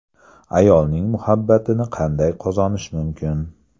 Ayolning muhabbatini qanday qozonish mumkin.